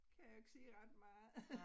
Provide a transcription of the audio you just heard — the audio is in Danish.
Kan jeg jo ikke sige ret meget